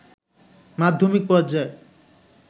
মাধ্যমিক পর্যায়ে